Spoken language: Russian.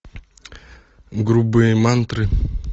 грубые мантры